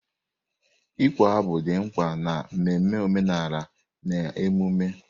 Ịkpọ abụ dị mkpa n'ememe omenala na emume.